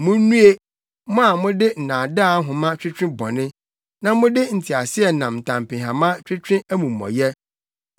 Munnue, mo a mode nnaadaa nhoma twetwe bɔne, na mode nteaseɛnam ntampehama twetwe amumɔyɛ.